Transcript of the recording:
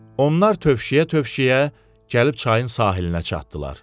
Onlar tövşiyə-tövşiyə gəlib çayın sahilinə çatdılar.